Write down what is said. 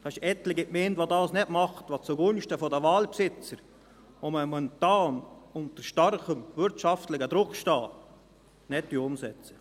Es gibt etliche Gemeinden, die dies nicht tun und dies zugunsten der Waldbesitzer, die momentan unter starkem wirtschaftlichem Druck stehen, nicht umsetzen.